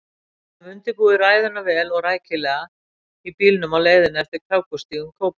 Við höfðum undirbúið ræðuna vel og rækilega í bílnum á leiðinni eftir krákustígum Kópavogs.